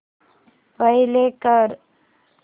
play कर